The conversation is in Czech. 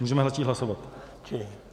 Můžeme začít hlasovat.